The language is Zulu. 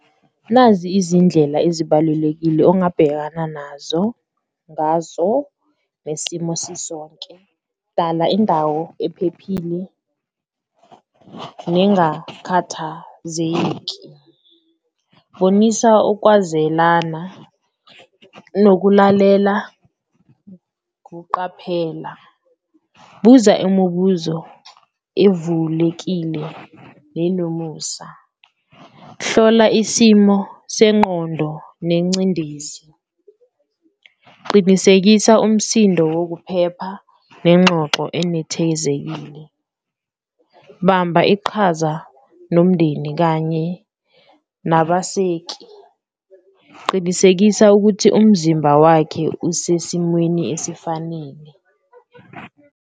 Nazi izindlela ezibalulekile ongabhekana nazo ngazo le simo sisonke, dala indawo ephephile, ningakhathazeki, bonisa ukwazelana nokulalela, ukuqaphela, buza imubuzo evulekile nenomusa, hlola isimo sengqondo nengcindezi. Qinisekisa umsindo wokuphepha nenxoxo enethezekile, bamba iqhaza nomndeni kanye nabaseki, qinisekisa ukuthi umzimba wakhe usesimweni esifanele.